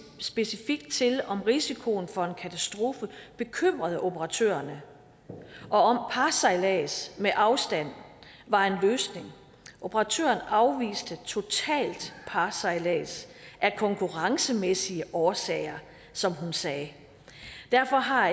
specifikt til om risikoen for en katastrofe bekymrede operatørerne og parsejlads med afstand var en løsning operatørerne afviste totalt parsejlads af konkurrencemæssige årsager som hun sagde derfor har